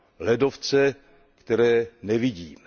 Ledovce, které nevidíme.